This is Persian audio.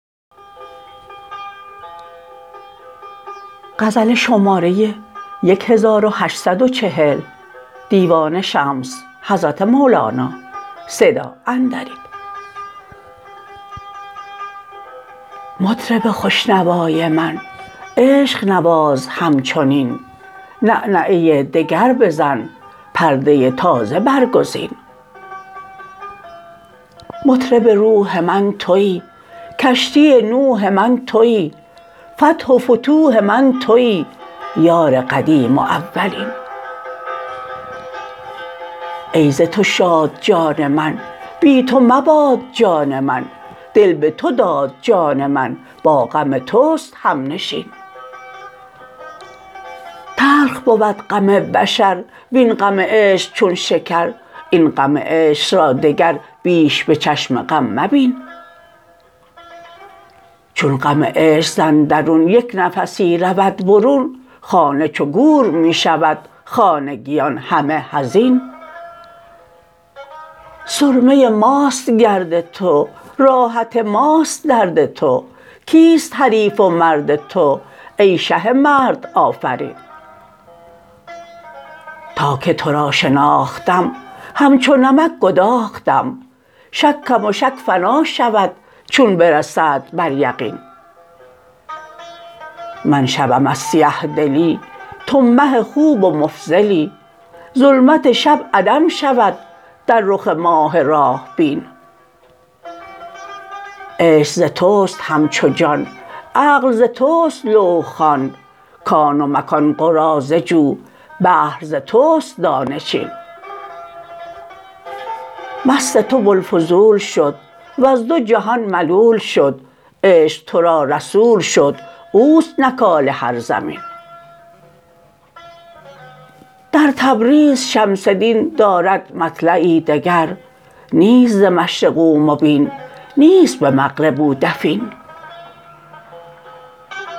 مطرب خوش نوای من عشق نواز همچنین نغنغه دگر بزن پرده تازه برگزین مطرب روح من توی کشتی نوح من توی فتح و فتوح من توی یار قدیم و اولین ای ز تو شاد جان من بی تو مباد جان من دل به تو داد جان من با غم توست همنشین تلخ بود غم بشر وین غم عشق چون شکر این غم عشق را دگر بیش به چشم غم مبین چون غم عشق ز اندرون یک نفسی رود برون خانه چو گور می شود خانگیان همه حزین سرمه ماست گرد تو راحت ماست درد تو کیست حریف و مرد تو ای شه مردآفرین تا که تو را شناختم همچو نمک گداختم شکم و شک فنا شود چون برسد بر یقین من شبم از سیه دلی تو مه خوب و مفضلی ظلمت شب عدم شود در رخ ماه راه بین عشق ز توست همچو جان عقل ز توست لوح خوان کان و مکان قراضه جو بحر ز توست دانه چین مست تو بوالفضول شد وز دو جهان ملول شد عشق تو را رسول شد او است نکال هر زمین در تبریز شمس دین دارد مطلعی دگر نیست ز مشرق او مبین نیست به مغرب او دفین